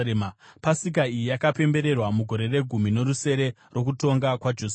Pasika iyi yakapembererwa mugore regumi norusere rokutonga kwaJosia.